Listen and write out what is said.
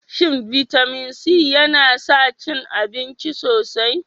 Shin bitamin C yana sa cin abinci sosai?